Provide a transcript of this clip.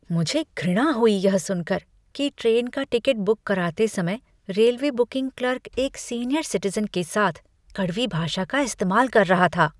मुझे घृणा हुई यह सुन कर कि ट्रेन का टिकट बुक कराते समय रेलवे बुकिंग क्लर्क एक सीनियर सिटिज़न के साथ कड़वी भाषा का इस्तेमाल कर रहा था।